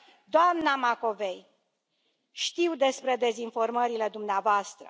Doamna Macovei, știu despre dezinformările dumneavoastră.